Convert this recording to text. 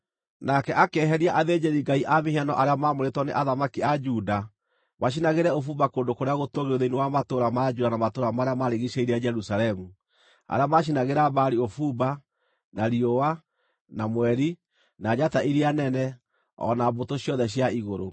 Nake akĩeheria athĩnjĩri-ngai cia mĩhianano arĩa maamũrĩtwo nĩ athamaki a Juda macinagĩre ũbumba kũndũ kũrĩa gũtũũgĩru thĩinĩ wa matũũra ma Juda na matũũra marĩa maarigiicĩirie Jerusalemu, arĩa maacinagĩra Baali ũbumba, na riũa, na mweri, na njata iria nene, o na mbũtũ ciothe cia igũrũ.